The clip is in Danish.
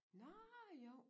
Nårh jo